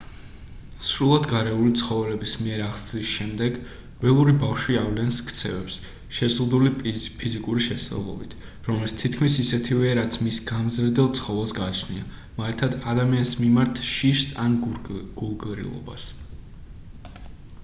სრულად გარეული ცხოველების მიერ აღზრდის შემდეგ ველური ბავშვი ავლენს ქცევებს შეზღუდული ფიზიკური შესაძლებლობით რომელიც თითქმის ისეთივეა რაც მის გამზრდელ ცხოველს გააჩნია მაგალითად ადამიანის მიმართ შიშს ან გულგრილობას